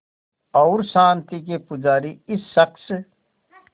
और शांति के पुजारी इस शख़्स